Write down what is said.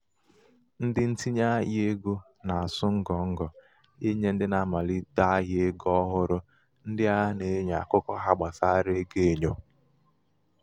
ndị ntinye ahịa égo na-asụ ngọ ngọ ịnye ndị na-amalite ahịa égo ọhụrụ ndị ana-enyo akụkọ ha gbasárá ego enyo.